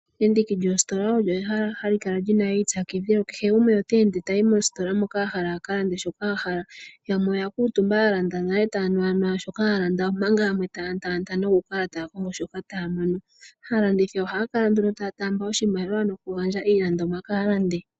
Endiki lyoositola olyo ehala hali kala lyi ipyakidhila ke. Kehe gumwe ota ende tayi moositola moka a hala a ka lande shoka a hala. Yamwe oya kuutumba ya lande nale taya nu shoka ya landa, omanga yamwe taya lata nokukala kongo shoka taya mono. Aalandithi ohaya kala nduno taya taamba oshimaliwa nokugandja iilandomwa kaalandi.